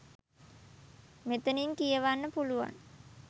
මෙතනින් කියවන්න පුළුවන්.